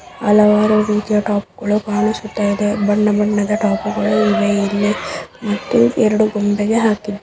ಹಲವಾರು ರೀತಿಯ ಟಾಪ್ ಗಳು ಕಾಣಿಸುತ್ತಾ ಇದೆ ಬಣ್ಣ ಬಣ್ಣದ ಟಾಪ್ ಗಳು ಇವೆ ಇಲ್ಲಿ ಮತ್ತು ಎರಡು ಗೊಂಬೆಗೆ ಹಾಕಿ